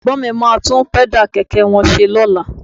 Ẹ̀gbọ́n mi máa tún Pẹ́dà kẹ̀kẹ́ wọn ṣe lọ́la